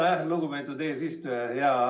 Aitäh, lugupeetud eesistuja!